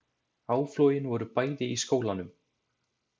Áflogin voru bæði í skólanum